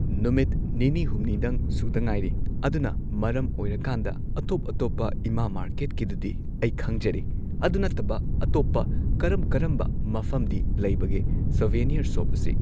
ꯅꯨꯃꯤꯠ ꯅꯤꯅꯤ ꯍꯨꯝꯅꯤꯗꯪ ꯁꯨꯗ ꯉꯥꯏꯔꯤ ꯑꯗꯨꯅ ꯃꯔꯝ ꯑꯣꯏꯔꯀꯥꯟꯗ ꯑꯇꯣꯞ ꯑꯇꯣꯞꯄ ꯏꯃꯥ ꯃꯥꯔꯀꯦꯠꯀꯤꯗꯨꯗꯤ ꯑꯩ ꯈꯪꯖꯔꯦ ꯑꯗꯨ ꯅꯠꯇꯕ ꯑꯇꯣꯞꯄ ꯀꯔꯝ ꯀꯔꯝꯕ ꯃꯐꯝꯗꯤ ꯂꯩꯕꯒꯦ ꯁꯣꯕꯤꯅ꯭ꯌꯥꯔ ꯁꯣꯞ ꯑꯁꯤ꯫